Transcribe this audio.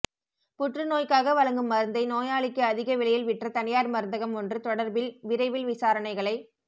புற்றுநோய்க்காக வழங்கும் மருந்தை நோயாளிக்கு அதிக விலையில் விற்ற தனியார் மருந்தகம் ஒன்று தொடர்பில் விரைவில் விசாரணைகளை